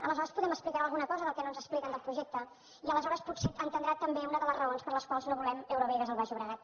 aleshores potser m’explicarà alguna cosa del que no ens expliquen del projecte i aleshores potser entendrà també una de les raons per les quals no volem eurovegas al baix llobregat